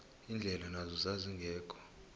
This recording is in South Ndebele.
indlela nazo zazingekho